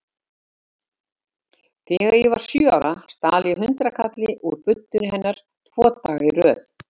Þegar ég var sjö ára stal ég hundraðkalli úr buddunni hennar tvo daga í röð.